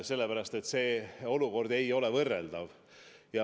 Sellepärast, et olukorrad ei ole võrreldavad.